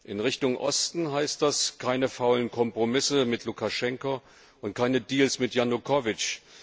In Richtung Osten heißt das Keine faulen Kompromisse mit Lukaschenko und keine Deals mit Janukowitsch.